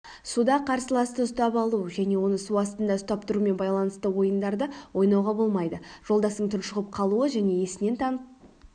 суда қарсыласты ұстап алу және оны су астында ұстап тұрумен байланысты ойындарды ойнауға болмайды жолдасың тұншығып қалуы және есінен танып